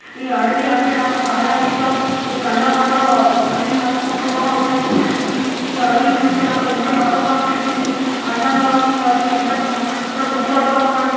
ఈ అడివి అంటే నాకు చాలా ఇష్టం. ఇది నల్ల పడ్డ అడివి అనుకుంటున్నాను .నేను ఇది ఈ అడివిని చూస్తే నాకు ఎంతో చక్కగా అనిపిస్తుంది. అందంగా ఉంది. ఈ అడివి ఎంత చు-సూపర్ గా ఉంది. అంటే--